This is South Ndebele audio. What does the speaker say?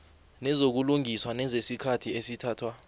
nezokulungisa nezesikhathi esithathwa